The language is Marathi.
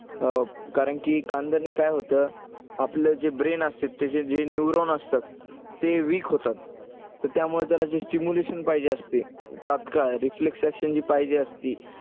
अं कारण की कांद्याने काय होतं, आपलं जे brain असते त्याचे जे neuron असतात ते weak होतात. तर त्यामुळे त्याला जे stimulation पाहिजे असते तत्काळ reflex action जे पाहिजे असते,